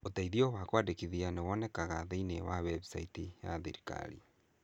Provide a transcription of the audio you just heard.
Ũteithio wa kwandĩkithia nĩ wonekaga thĩiniĩ wa website ya thirikari.